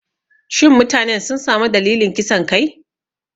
Shin mutanen sun sami dalilan kisan kai?